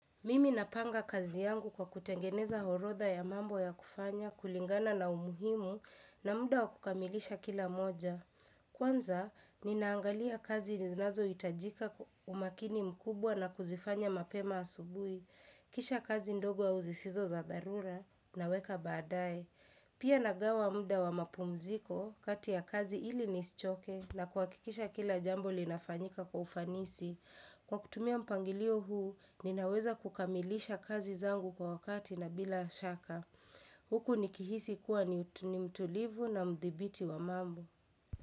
Mimi napanga kazi yangu kwa kutengeneza horodha ya mambo ya kufanya, kulingana na umuhimu na muda wa kukamilisha kila moja. Kwanza, ninaangalia kazi zinazo itajika umakini mkubwa na kuzifanya mapema asubuhi. Kisha kazi ndogo wa uzisizo za dharura naweka badaye. Pia nagawa muda wa mapumziko kati ya kazi ili nishoke na kuhakikisha kila jambo linafanyika kwa ufanisi. Kwa kutumia mpangilio huu, ninaweza kukamilisha kazi zangu kwa wakati na bila shaka. Huku nikihisi kuwa ni mtulivu na mdhibiti wa mambo.